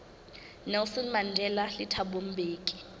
nelson mandela le thabo mbeki